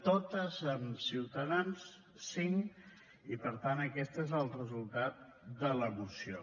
totes amb ciutadans cinc i per tant aquest és el resultat de la moció